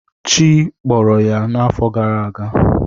Chi kpọrọ ya n’afọ gara aga.